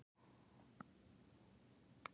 Bak við ystu sjónarrönd